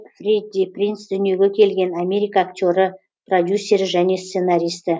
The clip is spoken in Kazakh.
фредди принц дүниеге келген америка актері продюсері және сценаристі